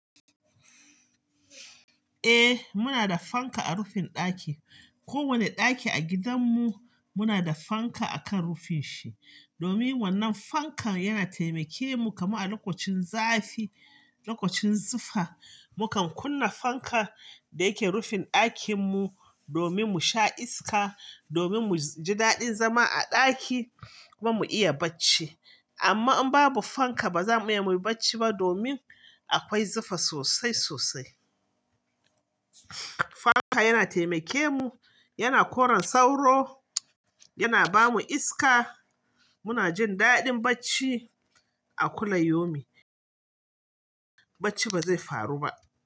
Eh muna da fanka a rufin ɗaki. Kowane ɗaki a gidanmu muna da fanka akan rufin shi. Domin wannan fankan yana taimake mu, kamar a lokacin zafi, lokacin zufa, mukan kunna fanka da yake rufin ɗakin mu domin mu sha iska, domin mu ji daɗin zama a ɗaki kuma mu iya bacci. Amma in babu fanka ba za mu iya bacci ba domin akwai zufa sosai sosai. Fanka yana taimake mu, yana koran sauro, yana ba mu iska. Muna jin daɗin bacci a kullum yomi. Bacci ba zai faru ba.